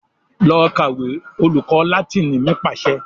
"Lọ kàwé!" Olùkọ́ Láátínì mi pàṣẹ.